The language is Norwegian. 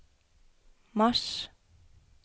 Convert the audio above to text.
mars